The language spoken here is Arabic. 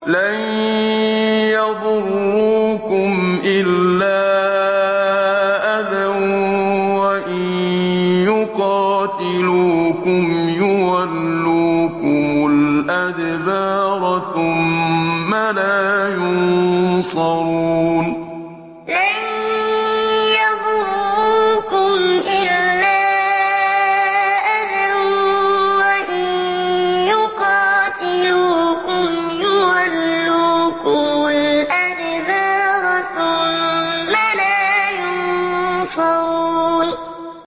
لَن يَضُرُّوكُمْ إِلَّا أَذًى ۖ وَإِن يُقَاتِلُوكُمْ يُوَلُّوكُمُ الْأَدْبَارَ ثُمَّ لَا يُنصَرُونَ لَن يَضُرُّوكُمْ إِلَّا أَذًى ۖ وَإِن يُقَاتِلُوكُمْ يُوَلُّوكُمُ الْأَدْبَارَ ثُمَّ لَا يُنصَرُونَ